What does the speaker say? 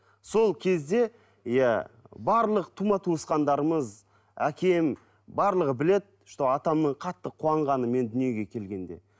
сол кезде иә барлық тума туысқандарымыз әкем барлығы біледі что атамның қатты қуанғаны мен дүниеге келгенде